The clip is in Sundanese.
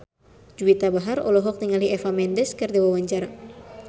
Juwita Bahar olohok ningali Eva Mendes keur diwawancara